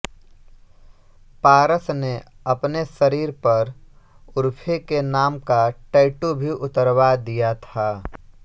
पारस ने अपने शरीर पर उर्फी के नाम का टैटू भी उतरवा दिया था